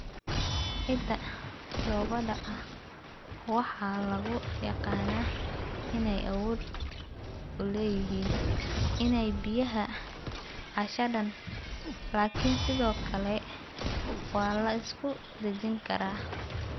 Ciidda dhoobada ah waxaa lagu yaqaanaa inay awood u leeyihiin inay biyaha ceshadaan, laakiin sidoo kale waa la isku dhejin karaa.